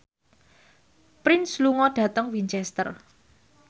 Prince lunga dhateng Winchester